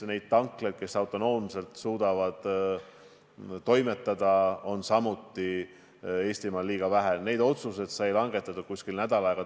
Heidy Purga, palun!